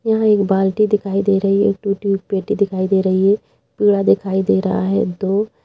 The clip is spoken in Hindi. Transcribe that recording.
यहाँ एक बाल्टी दिखाई दे रही है एक टूटी हुई पेटी दिखाई दे रही है पीड़ा दिखाई दे रहा है दो।